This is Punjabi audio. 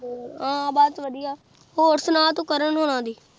ਹਾਂ ਭੂਤ ਵਾਦਿਯ ਹੋਰ ਸੁਨਾ ਤੂ ਕਰਨ ਹੋਣਾ ਦੀ